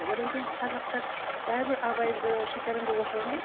одан кейін қазақтар бәрібір абайды шәкәрімді оқыған ғой